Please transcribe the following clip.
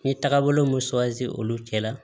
N ye tagabolo mun olu cɛla